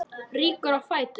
Rýkur á fætur.